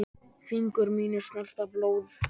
Fingur mínir snerta blóð þitt.